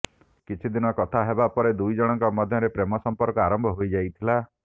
କିଛି ଦିନ କଥା ହେବା ପରେ ଦୁଇ ଜଣଙ୍କ ମଧ୍ୟରେ ପ୍ରେମ ସଂପର୍କ ଆରମ୍ଭ ହୋଇ ଯାଇଥିଲା